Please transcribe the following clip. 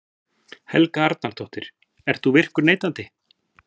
Helga Arnardóttir: Ert þú virkur neytandi?